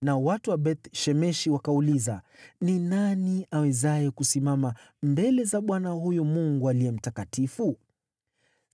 nao watu wa Beth-Shemeshi wakauliza, “Ni nani awezaye kusimama mbele za Bwana , huyu Mungu aliye mtakatifu?